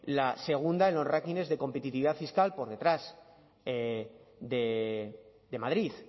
la segunda en los rankings de competitividad fiscal por detrás de madrid